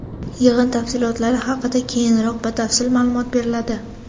Yig‘in tafsilotlari haqida keyinroq batafsil ma’lumot beriladi.